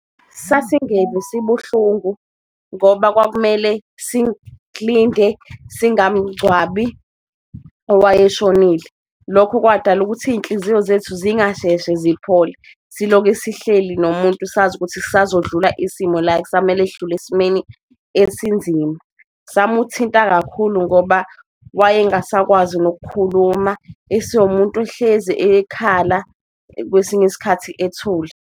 Sasingeve sibuhlungu ngoba kwakumele silinde singamgcwabi owayeshonile, lokho kwadala ukuthi iyinhliziyo zethu zingasheshe ziphole siloke esihleli nomuntu sazi ukuthi kusazodlula isimo la ekusamele sidlule esimeni esinzima. Samuthinta kakhulu ngoba wayengasakwazi nokukhuluma esewumuntu ehlezi ekhala, kwesinye isikhathi ethule.